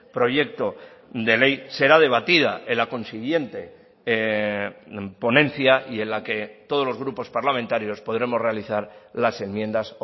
proyecto de ley será debatida en la consiguiente ponencia y en la que todos los grupos parlamentarios podremos realizar las enmiendas